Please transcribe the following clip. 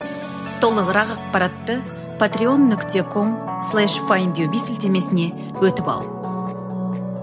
толығырақ ақпаратты патрион нүкте ком слеш файндюби сілтемесіне өтіп ал